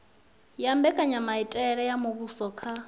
ha mbekanyamitele ya muvhuso kha